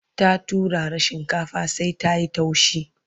ta turara shinkafar sai ta.yi taushi